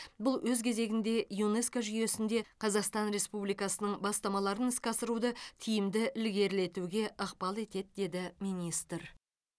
бұл өз кезегінде юнеско жүйесінде қазақстан республикасының бастамаларын іске асыруды тиімді ілгерілетуге ықпал етеді деді министр